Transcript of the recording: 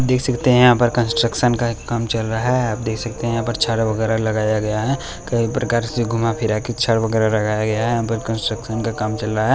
देख सकते हैं यहाँ पर कंस्ट्रक्शन का काम चल रहा है आप देख सकते हैं यहाँ पर छड़ वैगरा लगाया गया है कई प्रकार से घुमा-फिरा के छड़ वैगरा लगाया गया है यहाँ पर कंस्ट्रक्शन का काम चल रहा है।